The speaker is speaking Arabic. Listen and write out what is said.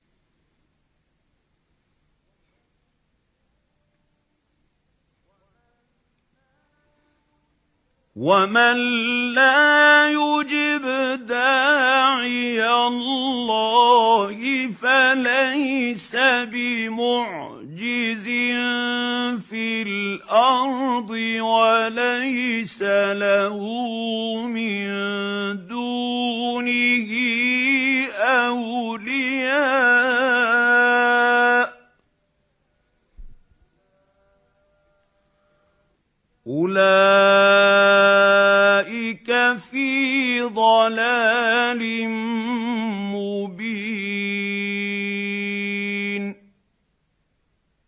وَمَن لَّا يُجِبْ دَاعِيَ اللَّهِ فَلَيْسَ بِمُعْجِزٍ فِي الْأَرْضِ وَلَيْسَ لَهُ مِن دُونِهِ أَوْلِيَاءُ ۚ أُولَٰئِكَ فِي ضَلَالٍ مُّبِينٍ